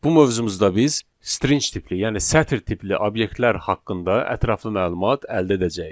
Bu mövzumuzda biz string tipli, yəni sətr tipli obyektlər haqqında ətraflı məlumat əldə edəcəyik.